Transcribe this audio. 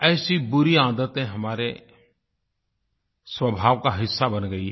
ऐसी बुरी आदतें हमारे स्वभाव का हिस्सा बन गई हैं